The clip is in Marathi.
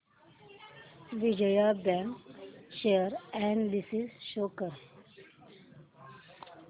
Vijaya bank share analysis show कर